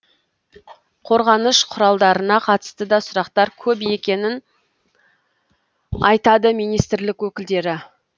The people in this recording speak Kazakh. қорғаныш құралдарына қатысты да сұрақтар көп екенін айтады министрлік өкілдері